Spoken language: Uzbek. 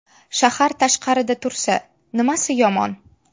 Shahar tashqarida tursa nimasi yomon?